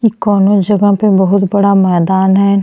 ई कौवनो जगह पे बहुत बड़ा मैदान है।